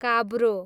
काब्रो